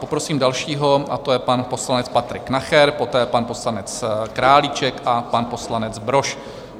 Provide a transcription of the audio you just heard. Poprosím dalšího a to je pan poslanec Patrik Nacher, poté pan poslanec Králíček a pan poslanec Brož.